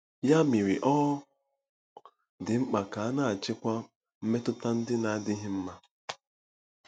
Ya mere, ọ dị mkpa ka a na-achịkwa mmetụta ndị na-adịghị mma.